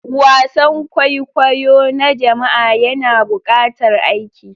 Wasan kwaikwayo na jama'a yana buƙatar aiki.